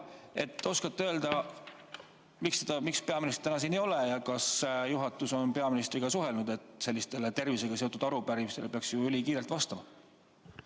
Kas te oskate öelda, miks peaministrit täna siin ei ole ja kas juhatus on peaministriga suhelnud ja viidanud, et tervisega seotud arupärimistele peaks ülikiirelt vastama?